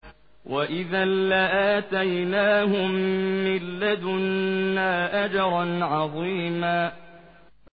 وَإِذًا لَّآتَيْنَاهُم مِّن لَّدُنَّا أَجْرًا عَظِيمًا